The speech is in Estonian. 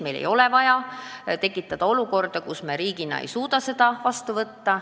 Meil ei ole vaja tekitada olukorda, kus me riigina ei suuda seda vastu võtta.